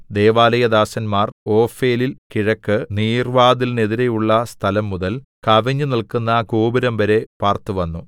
ദൈവാലയദാസന്മാർ ഓഫേലിൽ കിഴക്ക് നീർവ്വാതിലിനെതിരെയുള്ള സ്ഥലംമുതൽ കവിഞ്ഞുനില്ക്കുന്ന ഗോപുരംവരെ പാർത്തുവന്നു